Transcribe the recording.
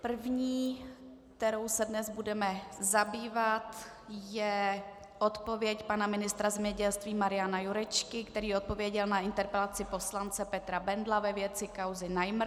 První, kterou se dnes budeme zabývat, je odpověď pana ministra zemědělství Mariana Jurečky, který odpověděl na interpelaci poslance Petra Bendla ve věci kauzy Najmr.